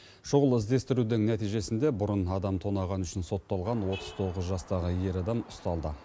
шұғыл іздестірудің нәтижесінде бұрын адам тонағаны үшін сотталған отыз тоғыз жастағы ер адам ұсталды